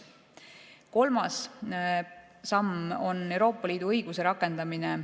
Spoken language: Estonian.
Kolmas samm on Euroopa Liidu õiguse rakendamine.